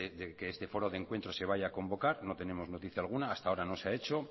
de que este foro de encuentro de vaya a convocar no tenemos noticia alguna hasta ahora no se ha hecho